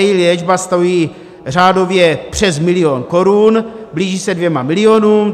Její léčba stojí řádově přes milion korun, blíží se dvěma milionům.